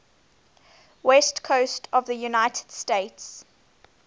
west coast of the united states